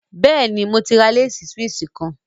Yes, I have bought a Swiss Lace